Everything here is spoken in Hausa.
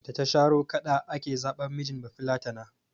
Da ta sharo kaɗa ake zaɓan mijin bafillatana.